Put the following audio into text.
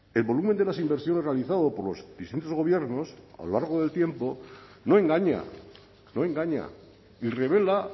el volumen de las inversiones realizado por los distintos gobiernos a lo largo del tiempo no engaña no engaña y revela